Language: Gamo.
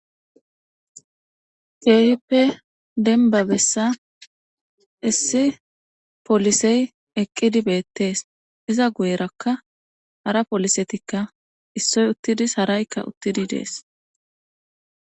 Keehippe dembba issi polisey eqqidi beetees iza guyerakka hara poolisetikka issoy uttidi dees haraykka ttidi dees